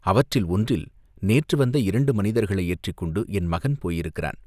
அவற்றில் ஒன்றில் நேற்று வந்த இரண்டு மனிதர்களை ஏற்றிக் கொண்டு என் மகன் போயிருக்கிறான்.